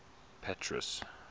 petrus